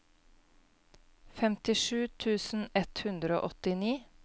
femtisju tusen ett hundre og åttini